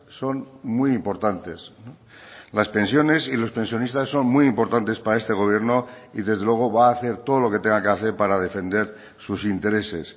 son muy importantes las pensiones y los pensionistas son muy importantes para este gobierno y desde luego va a hacer todo lo que tenga que hacer para defender sus intereses